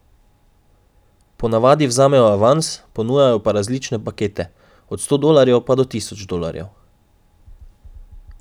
Po navadi vzamejo avans, ponujajo pa različne pakete, od sto dolarjev pa do tisoč dolarjev.